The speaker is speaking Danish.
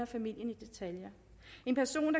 familien i detaljer en person